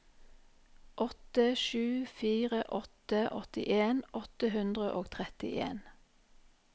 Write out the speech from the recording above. åtte sju fire åtte åttien åtte hundre og trettien